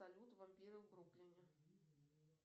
салют вампиры в бруклине